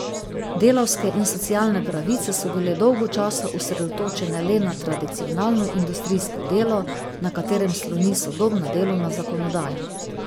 Delavske in socialne pravice so bile dolgo časa osredotočene le na tradicionalno industrijsko delo, na katerem sloni sodobna delovna zakonodaja.